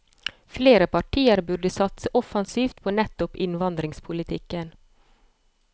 Flere partier burde satse offensivt på nettopp innvandringspolitikken.